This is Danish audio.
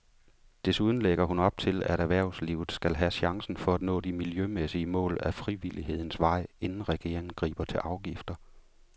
Desuden lægger hun op til, at erhvervslivet skal have chancen for at nå de miljømæssige mål ad frivillighedens vej, inden regeringen griber til afgifter.